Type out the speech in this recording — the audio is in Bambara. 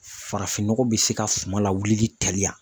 Farafin nɔgɔ bɛ se ka suman lawulili teliya